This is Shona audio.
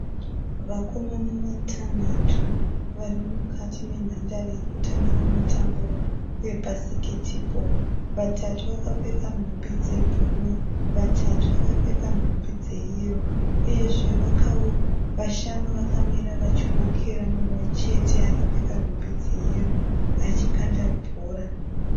Vakomana vatanhatu varimukati menhandare yekutambira mutambo webhasiketibhoo. Vatatu vakapfeka nhumbi dzebhuruu, vatatu vakapfeka nhumbi dzeyero. Uyezve vashanu vakamira vachiwokera akapfeka nhumbi dzeyero achikanda bhora.